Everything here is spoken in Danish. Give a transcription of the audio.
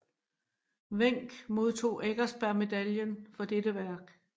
Wenck modtog Eckersberg Medaillen for dette værk